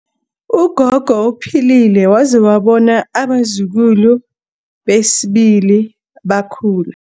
Ugogo uphilile waze wabona abazukulu besibili bekhula.